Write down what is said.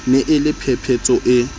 ne e le phephetso e